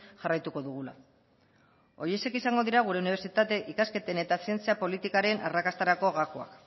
jarraituko dugula horiexek izango dira gure unibertsitate ikasketen eta zientzia politikaren arrakastarako gakoak